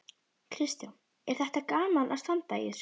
Kristján: Er þetta gaman að standa í þessu?